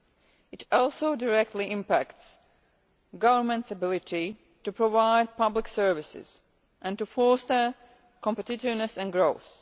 but it also directly impacts on a government's ability to provide public services and to foster competitiveness and growth.